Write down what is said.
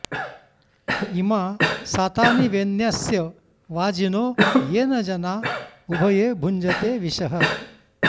इ॒मा सा॒तानि॑ वे॒न्यस्य॑ वा॒जिनो॒ येन॒ जना॑ उ॒भये॑ भुञ्ज॒ते विशः॑